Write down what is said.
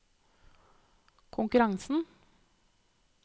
konkurransen